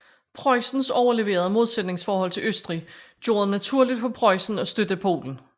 Preussens overleverede modsætningsforhold til Østrig gjorde det naturligt for Preussen at støtte Polen